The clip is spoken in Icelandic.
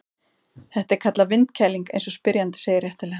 Þetta er kallað vindkæling eins og spyrjandi segir réttilega.